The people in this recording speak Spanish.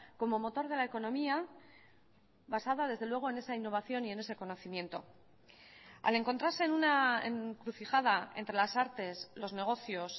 como motor de la economía basada desde luego en esa innovación y en ese conocimiento al encontrarse en una encrucijada entre las artes los negocios